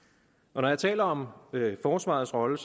når jeg taler om forsvarets rolle